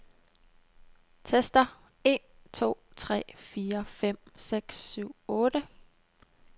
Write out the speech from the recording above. Tester en to tre fire fem seks syv otte.